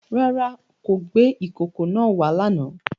Rárá o, kò gbé ìkòkò náà wá lánàá.